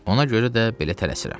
Ona görə də belə tələsirəm.